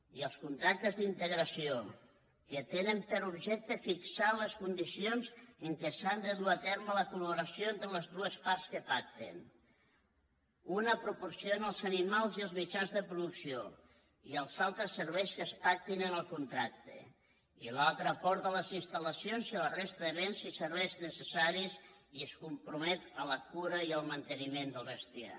i els contractes d’integració que tenen per objecte fixar les condicions en què s’ha de dur a terme la collaboració entre les dues parts que pacten una proporciona els animals i els mitjans de producció i els altres serveis que es pactin en el contracte i l’altra aporta les instal·lacions i la resta de béns i serveis necessaris i es compromet a la cura i al manteniment del bestiar